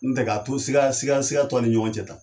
N tɛ ka to siga siga siga to a ni ɲɔgɔncɛ tan